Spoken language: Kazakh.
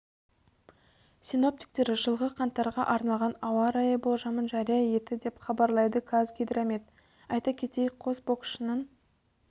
синоптиктер жылғы қаңтарға арналған ауа райы болжамын жария етті деп хабарлайды қазгидромет айта кетейік қос боксшының